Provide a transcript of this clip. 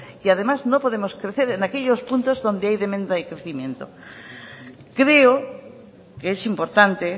y además no podemos crecer en aquellos puntos donde hay demanda de crecimiento creo que es importante